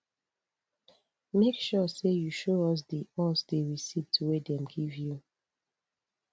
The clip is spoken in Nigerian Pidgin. make sure sey you show us di us di receipt wey dem give you